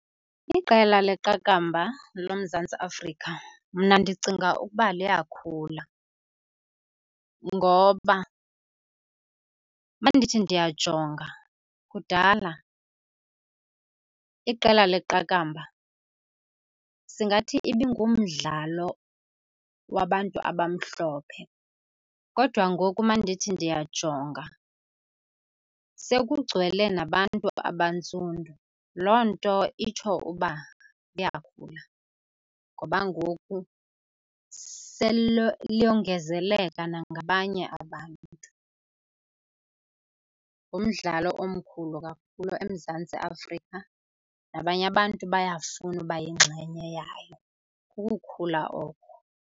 Iqela leqakamba loMzantsi Afrika mna ndicinga ukuba liyakhula ngoba uma ndithi ndiyajonga, kudala iqela leqakamba singathi ibingumdlalo wabantu abamhlophe kodwa ngoku uma ndithi ndiyajonga sekugcwele nabantu abantsundu. Loo nto itsho uba liyakhula, ngoba ngoku sele liyongezeleka nangabanye abantu. Ngumdlalo omkhulu kakhulu eMzantsi Afrika, nabanye abantu bayafuna uba yingxenye yayo. Kukukhula oko.